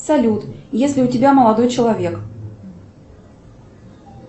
салют есть ли у тебя молодой человек